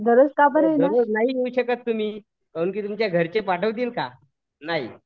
दररोज नाही येऊ शकत तुम्ही काहून की तुमच्या घरचे पाठवतील का? नाही